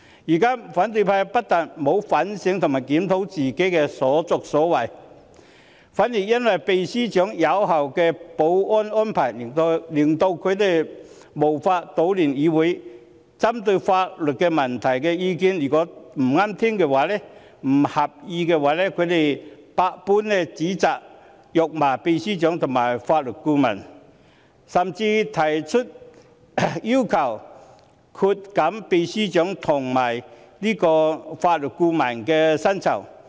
如今，反對派不但沒有反省和檢討自己的所作所為，反而因為秘書長有效的保安安排令他們無法搗亂議會，因為法律顧問的意見不中聽、不合意，百般指責和辱罵秘書長和法律顧問，甚至提出要求削減秘書長和法律顧問的薪酬。